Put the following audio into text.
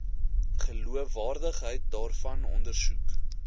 geloofwaardigheid daarvan ondersoek